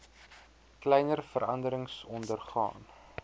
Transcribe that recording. kleiner veranderings ondergaan